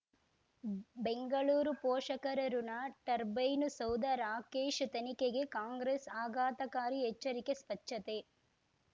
ಬೆಂಗಳೂರು ಪೋಷಕರಋಣ ಟರ್ಬೈನು ಸೌಧ ರಾಕೇಶ್ ತನಿಖೆಗೆ ಕಾಂಗ್ರೆಸ್ ಆಘಾತಕಾರಿ ಎಚ್ಚರಿಕೆ ಸ್ವಚ್ಛತೆ